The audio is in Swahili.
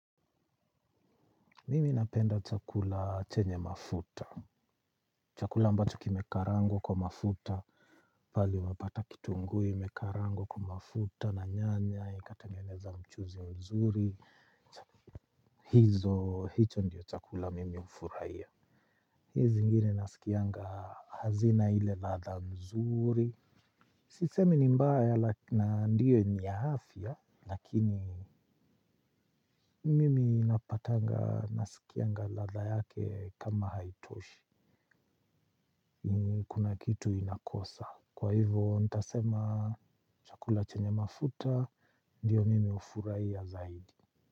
Mimi napenda chakula chenye mafuta. Chakula mbacho kimekarangwa kwa mafuta, pale wapata kitungu imekarangwa kwa mafuta na nyanya, ikatangeneza mchuzi mzuri. Hizo, hicho ndiyo chakula mimi hufurahia. Hizi zingine nasikianga hazina ile ladha mzuri. Sisemi ni mbaya na ndiyo niya afya, lakini mimi napatanga nasikianga ladha yake kama haitoshi. Kuna kitu inakosa. Kwa hivo ntasema chakula chenye mafuta ndiyo mimi hufurahia zaidi.